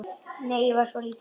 Nei, ég var svo lítil.